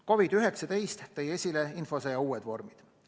COVID-19 pandeemia on esile toonud infosõja uued vormid.